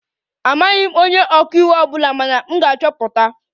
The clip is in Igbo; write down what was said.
Amaghị m onye ọka iwu ọ bụla mana m ga-achọpụta